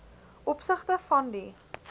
opsigte van die